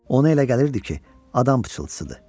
Ona elə gəlirdi ki, adam pıçıltısıdır.